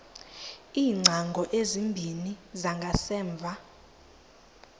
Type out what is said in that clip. iingcango ezimbini zangasemva